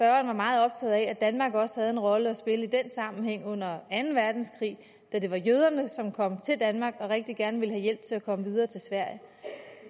er meget optaget af at danmark også havde en rolle at spille i den sammenhæng under anden verdenskrig da det var jøderne som kom til danmark og rigtig gerne ville have hjælp til at komme videre til sverige